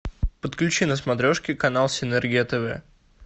подключи на смотрешке канал синергия тв